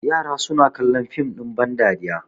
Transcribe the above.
yara suna kallon dim ɗin bandariya